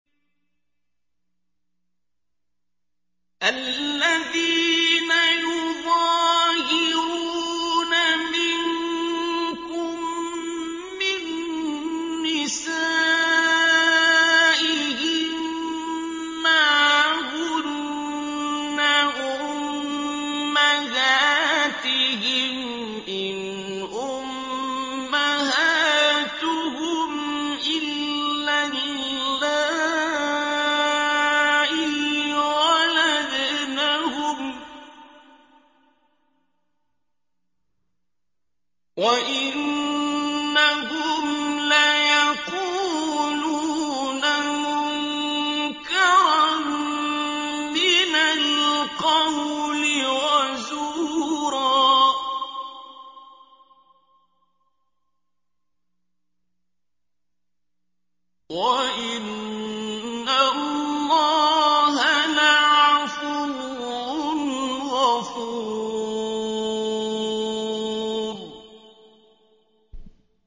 الَّذِينَ يُظَاهِرُونَ مِنكُم مِّن نِّسَائِهِم مَّا هُنَّ أُمَّهَاتِهِمْ ۖ إِنْ أُمَّهَاتُهُمْ إِلَّا اللَّائِي وَلَدْنَهُمْ ۚ وَإِنَّهُمْ لَيَقُولُونَ مُنكَرًا مِّنَ الْقَوْلِ وَزُورًا ۚ وَإِنَّ اللَّهَ لَعَفُوٌّ غَفُورٌ